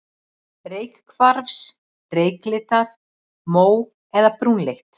Reykkvars, reyklitað, mó- eða brúnleitt.